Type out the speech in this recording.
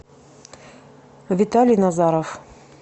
виталий назаров